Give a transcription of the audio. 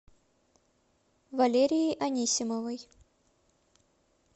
валерией анисимовой